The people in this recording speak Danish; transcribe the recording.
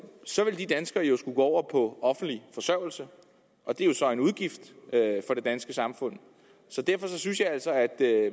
så ville de danskere jo skulle gå over på offentlig forsørgelse og det er jo så en udgift for det danske samfund derfor synes jeg altså at